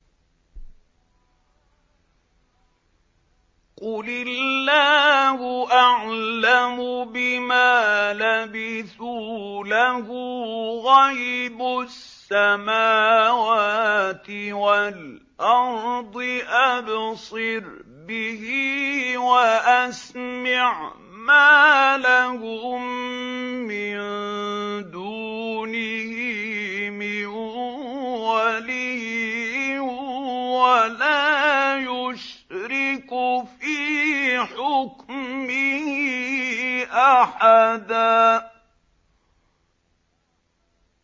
قُلِ اللَّهُ أَعْلَمُ بِمَا لَبِثُوا ۖ لَهُ غَيْبُ السَّمَاوَاتِ وَالْأَرْضِ ۖ أَبْصِرْ بِهِ وَأَسْمِعْ ۚ مَا لَهُم مِّن دُونِهِ مِن وَلِيٍّ وَلَا يُشْرِكُ فِي حُكْمِهِ أَحَدًا